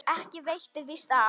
Ekki veitti víst af.